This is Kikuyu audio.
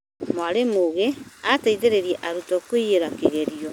Mwarimũũngĩ ateithiria arutwo kũiĩra kĩgerio